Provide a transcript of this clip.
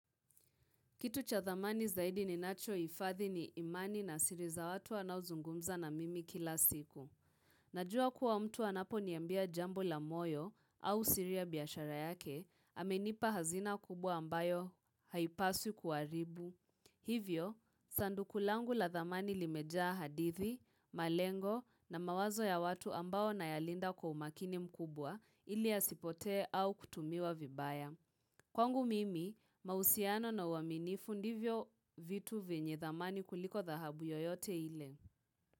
Kitu cha dhamani zaidi ninachohifadhi ni imani na siri za watu wanaozungumza na mimi kila siku. Najua kuwa mtu anapo niambia jambo la moyo au siri ya biashara yake, amenipa hazina kubwa ambayo haipaswi kuaribu. Hivyo, sanduku langu la dhamani limejaa hadithi, malengo na mawazo ya watu ambao nayalinda kwa umakini mkubwa, ili yasipote au kutumiwa vibaya. Kwangu mimi, mausiano na waminifu ndivyo vitu venye dhamani kuliko dhahabu yoyote ile.